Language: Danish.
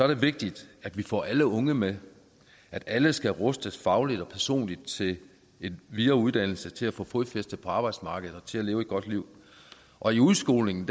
det vigtigt at vi får alle unge med at alle skal rustes fagligt og personligt til en videre uddannelse til at få fodfæste på arbejdsmarkedet og til at leve et godt liv og i udskolingen